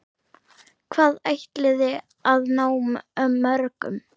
Hvað ætliði að ná mörgum?